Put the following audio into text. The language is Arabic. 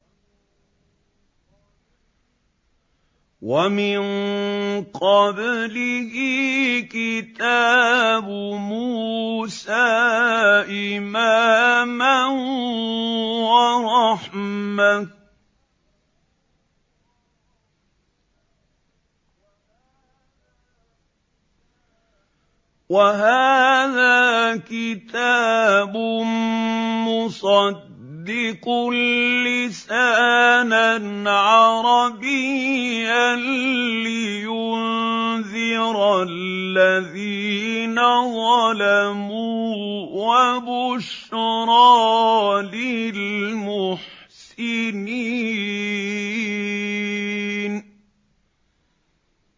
وَمِن قَبْلِهِ كِتَابُ مُوسَىٰ إِمَامًا وَرَحْمَةً ۚ وَهَٰذَا كِتَابٌ مُّصَدِّقٌ لِّسَانًا عَرَبِيًّا لِّيُنذِرَ الَّذِينَ ظَلَمُوا وَبُشْرَىٰ لِلْمُحْسِنِينَ